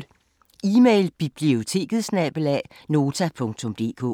Email: biblioteket@nota.dk